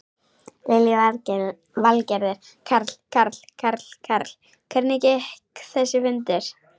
Lillý Valgerður: Karl, Karl, Karl, Karl, hvernig gekk þessi fundur?